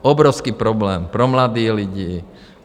Obrovský problém pro mladé lidi.